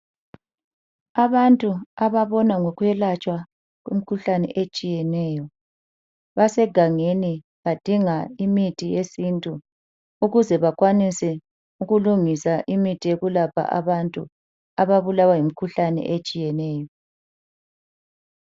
Abantu ababona ngokwelatshwa kwemkhuhlane etshiyeneyo basegangeni badinga imithi yesintu. Ukuze bakwanise ukulungisa imithi yokulapha abantu ababulawa yimikhuhlane etshiyeneyo.